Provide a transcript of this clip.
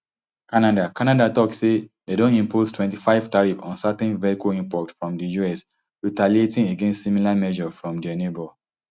canada canada tok say dem don impose twenty-five tariff on certain vehicle imports from di us retaliating against similar measure from dia neighbour